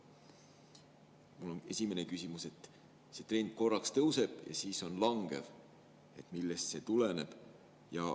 " Mu esimene küsimus on, et see trend korraks tõuseb ja siis langeb, et millest see tuleneb.